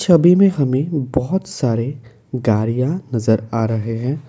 तभी में हमें बहोत सारे गारिया नजर आ रहे हैं।